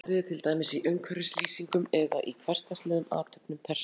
Oft eru þetta smáatriði, til dæmis í umhverfislýsingum eða í hversdagslegum athöfnum persónanna.